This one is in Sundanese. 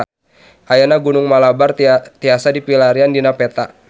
Ayeuna Gunung Malabar tiasa dipilarian dina peta